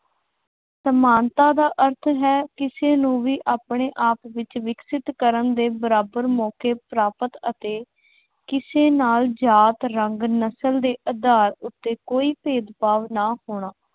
ਸਮਾਨਤਾ ਦਾ ਅਰਥ ਹੈ ਕਿਸੇ ਨੂੰ ਵੀ ਆਪਣੇ ਆਪ ਵਿੱਚ ਵਿਕਸਤ ਕਰਨ ਦੇ ਬਰਾਬਰ ਮੌਕੇ ਪ੍ਰਾਪਤ ਅਤੇ ਕਿਸੇ ਨਾਲ ਜਾਤ, ਰੰਗ, ਨਸਲ ਦੇ ਆਧਾਰ ਉੱਤੇ ਕੋਈ ਭੇਦਭਾਵ ਨਾ ਹੋਣਾ।